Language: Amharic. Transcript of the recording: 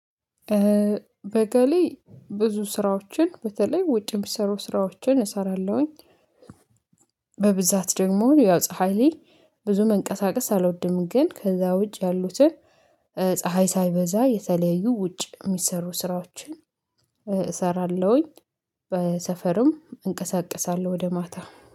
ቤተ ላይ ብዙ ስራዎችን በተለይ ውጭ የሚሰሩ ስራዎችን እሰራለሁኝ። በብዛት ደግሞ ፀሀይ ላይ ብዙ መንቀሳቀስ አልወድም ግን ከዛ ውጭ ያሉትን ፀሀይ ሳይበዛ የተለያዩ ውጭ የሚሰሩ ስራዎችን እሰራለሁኝ። በሰፈርም እንቀሳቀሳለሁ ወደ ማታ